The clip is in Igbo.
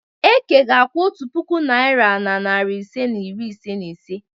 Eke ga-akwụ otu puku naịra na narị ise na iri ise na ise.